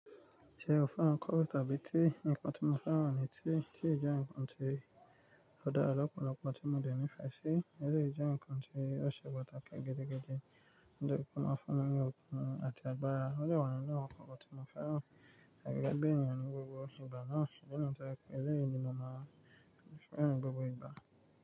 Ṣe o fẹ́ràn coffe abi tea? Ìkàn tí mo fẹ́ran ni tea, tea jẹ́ ǹkan ti ó dára lọ́pọ̀lọpọ̀ tí mo dẹ̀nì fẹ́ ṣe, eléyìí jẹ́ ǹkan tí o ṣe pàtàkì gidigidi nítori tí ó máa fún mi ní okun àti agbára. Ó jẹ́ ọ̀nà náà kan lára tí mo fẹ́ran láti rí ẹgbẹ́ ènìyàn ní gbogbo ìgbà náà. Nínú ìtàn ẹlẹ́rìí ni mo máa ń fẹ́ran gbogbo ìgbà.